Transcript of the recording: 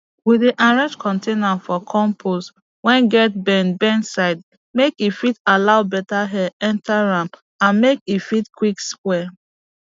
we dey arrange container for compost wey get bend bend side make e fit allow beta air enter am and make e fit quick spoil